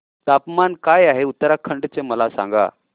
तापमान काय आहे उत्तराखंड चे मला सांगा